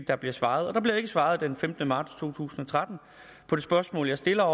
der bliver svaret og der bliver ikke svaret den femte marts to tusind og tretten på det spørgsmål jeg stiller